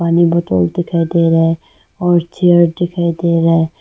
बोतल दिखाई दे रहा है और चेयर दिखाई दे रहा है।